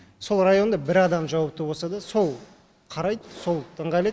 сол районда бір адам жауапты болса да сол қарайды сол ыңғайлайды